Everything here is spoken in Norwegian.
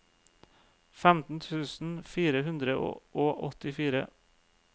femten tusen fire hundre og åttifire